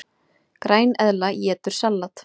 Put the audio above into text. Græneðla étur salat!